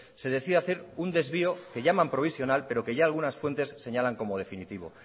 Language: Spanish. se decide hacer un desvío que llaman provisional pero que ya algunas fuentes señalan como definitivo